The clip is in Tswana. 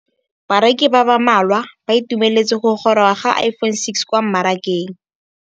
Bareki ba ba malwa ba ituemeletse go gôrôga ga Iphone6 kwa mmarakeng.